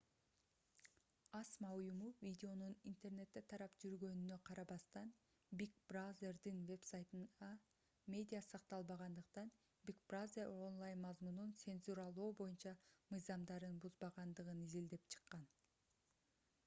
асма уюму видеонун интернетте тарап жүргөнүнө карабастан big brother'дин вебсайтына медиа сакталбагандыктан big brother онлайн мазмунун цензуралоо боюнча мыйзамдарын бузбагандыгын изилдеп чыккан